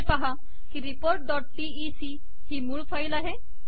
हे पहा की रिपोर्ट डॉट टीईसी ही मूळ फाईल आहे